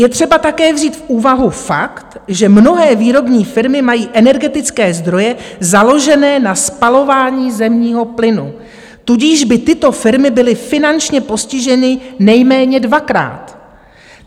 Je třeba také vzít v úvahu fakt, že mnohé výrobní firmy mají energetické zdroje založené na spalování zemního plynu, tudíž by tyto firmy byly finančně postiženy nejméně dvakrát.